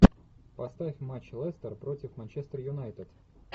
поставь матч лестер против манчестер юнайтед